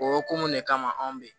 O ko mun de kama anw be yen